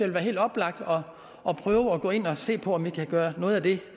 være helt oplagt at prøve at gå ind og se på om vi kan gøre noget af det